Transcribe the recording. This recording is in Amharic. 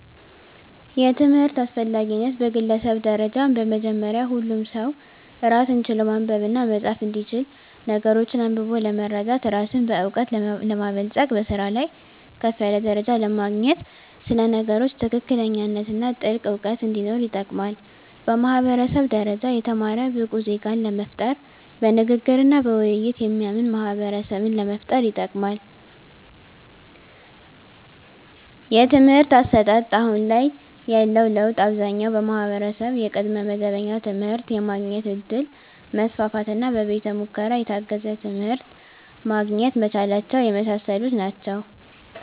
የትምህርት አስፈላጊነት በግለሰብ ደረጃ በመጀመሪያ ሁሉም ሰው ራስን ችሎ ማንበብና መፃፍ እንዲችል ነገሮችን አንብቦ ለመረዳት ራስን በእውቀት ለማበልፀግ በስራ ላይ ከፍ ያለ ደረጃ ለማግኘት ስለ ነገሮች ትክክለኛነትና ጥልቅ እውቀት እንዲኖር ይጠቅማል። በማህበረሰብ ደረጃ የተማረ ብቁ ዜጋን ለመፍጠር በንግግርና በውይይት የሚያምን ማህበረሰብን ለመፍጠር ይጠቅማል። የትምህርት አሰጣጥ አሁን ላይ ያለው ለውጥ አብዛኛው ማህበረሰብ የቅድመ መደበኛ ትምህርት የማግኘት እድል መስፋፋትና በቤተ ሙከራ የታገዘ ትምህርት ማግኘት መቻላቸው የመሳሰሉት ናቸው።